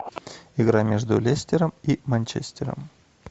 игра между лестером и манчестером